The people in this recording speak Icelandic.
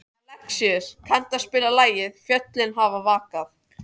Alexíus, kanntu að spila lagið „Fjöllin hafa vakað“?